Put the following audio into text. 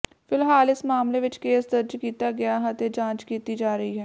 ਫਿਲਹਾਲ ਇਸ ਮਾਮਲੇ ਵਿਚ ਕੇਸ ਦਰਜ ਕੀਤਾ ਗਿਆ ਹੈ ਅਤੇ ਜਾਂਚ ਕੀਤੀ ਜਾ ਰਹੀ ਹੈ